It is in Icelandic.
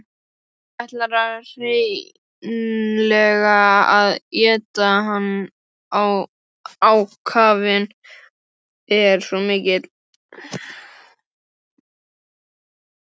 Hún ætlar hreinlega að éta hann, ákafinn er svo mikill.